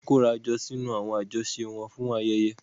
Wọ́n máa ń kóra jọ sínú àwọn àjọṣe wọn fún ayẹyẹ.